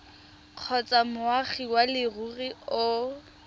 kgotsa moagi wa leruri o